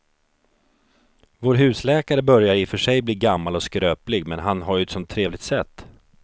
Vår husläkare börjar i och för sig bli gammal och skröplig, men han har ju ett sådant trevligt sätt!